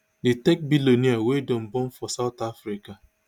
di tech billionaire wia dem born for south africa